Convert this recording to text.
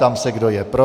Ptám se, kdo je pro.